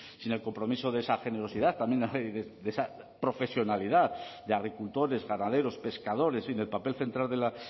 sin el compromiso de esa generosidad también de esa profesionalidad de agricultores ganaderos pescadores y en el papel central de la